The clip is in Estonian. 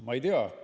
Ma ei tea.